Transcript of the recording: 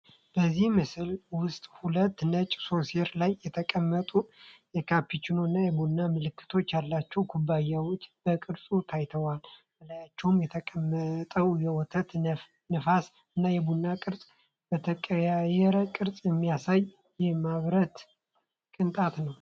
በዚህ ምስል ውስጥ ሁለት ነጭ ሶሴር ላይ የተቀመጡ የካፒቺኖ እና የቡና መልክ ያላቸው ኩባያዎች በቅርጽ ታይተዋል። በላያቸው የተቀመጠው የወተት ነፍስ እና የቡና ቅርጽ በተቀያየረ ቅርጽ የሚያሳይ የማርብል ቅንጣት ነው።